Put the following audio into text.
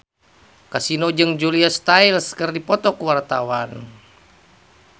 Kasino jeung Julia Stiles keur dipoto ku wartawan